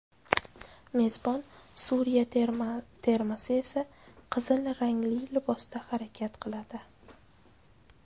Mezbon Suriya termasi esa qizil rangli libosda harakat qiladi.